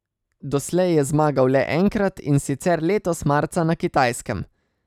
Doslej je zmagal le enkrat, in sicer letos marca na Kitajskem.